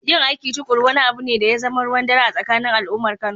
Yin aiki tuƙuru wani abu ne da ya zama ruwan dare a tsakanin al’ummar Kano